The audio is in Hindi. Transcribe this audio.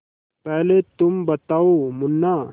पहले तुम बताओ मुन्ना